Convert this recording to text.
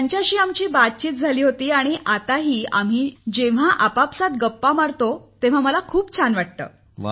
त्यांच्याशी आमची चर्चाही झाली होती आणि आताही आम्ही जेव्हा आपसात गप्पा मारतो तेव्हा मला खूप छान वाटतं